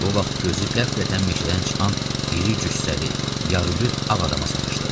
Bu vaxt gözü qəflətən meşədən çıxan iri cüssəli, yarılyüt ağ adama sataşdı.